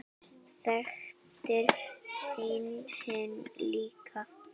Þekktir þú hinn líka?